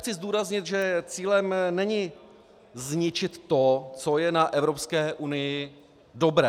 Chci zdůraznit, že cílem není zničit to, co je na Evropské unii dobré.